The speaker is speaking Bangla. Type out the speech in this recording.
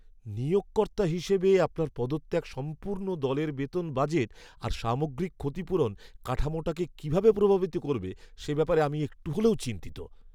নিয়োগকর্তা হিসেবে, আপনার পদত্যাগ সম্পূর্ণ দলের বেতন বাজেট আর সামগ্রিক ক্ষতিপূরণ কাঠামোটাকে কিভাবে প্রভাবিত করবে, সে ব্যাপারে আমি একটু হলেও চিন্তিত।